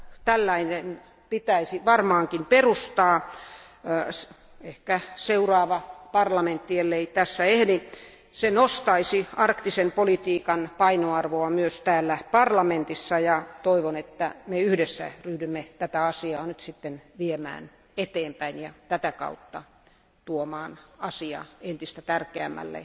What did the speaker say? Tällainen pitäisi varmaankin perustaa, ehkä seuraava parlamentti, ellei tässä ehdi, se nostaisi arktisen politiikan painoarvoa myös täällä parlamentissa, ja toivon, että me yhdessä ryhdymme tätä asiaa nyt sitten viemään eteenpäin ja tätä kautta tuomaan asia entistä tärkeämmälle